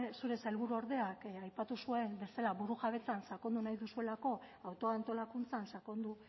zure sailburuordeak aipatu zuen bezala burujabetzan sakondu nahi duzuelako autoantolakuntzan sakondu